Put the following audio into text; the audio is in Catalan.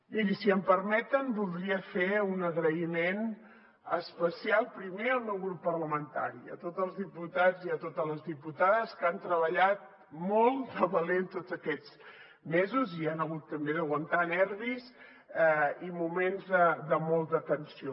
mirin si m’ho permeten voldria fer un agraïment especial primer al meu grup parlamentari a tots els diputats i a totes les diputades que han treballat molt de valent tots aquests mesos i han hagut també d’aguantar nervis i moments de molta tensió